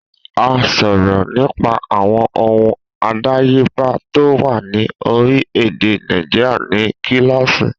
A sọ̀rọ̀ nípa àwọn ohun àdáyébá tó wà ní orílẹ̀-èdè Nàìjíríà ní kíláàsì.